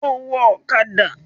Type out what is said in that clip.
Ó wọ ọ̀kadà!